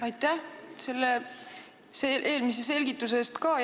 Aitäh selle eelmise selgituse eest ka!